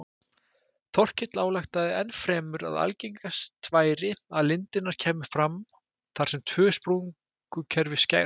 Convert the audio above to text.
Þorkell ályktaði ennfremur að algengast væri að lindirnar kæmu fram þar sem tvö sprungukerfi skærust.